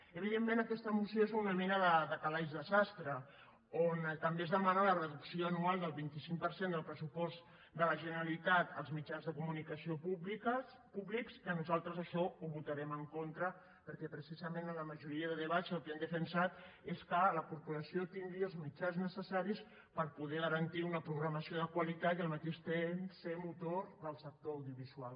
evidentment aquesta moció és una mena de calaix de sastre on també es demana la reducció anual del vint cinc per cent del pressupost de la generalitat als mitjans de comunicació públics i que nosaltres a això hi votarem en contra perquè precisament en la majoria de debats el que hem defensat és que la corporació tingui els mitjans necessaris per poder garantir una programació de qualitat i al mateix temps ser motor del sector audiovisual